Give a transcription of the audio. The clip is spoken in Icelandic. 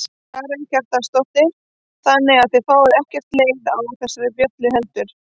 Karen Kjartansdóttir: Þannig að þið fáið ekkert leið á þessari bjöllu heldur?